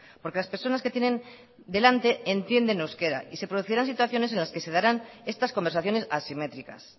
porque las personas que tienen delante entienden euskera y se producirán situaciones en las que se darán estas conversaciones asimétricas